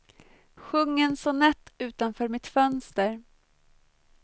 Sjung en sonett utanför mitt fönster.